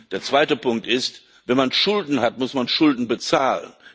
Der zweite Punkt ist Wenn man Schulden hat, muss man Schulden bezahlen.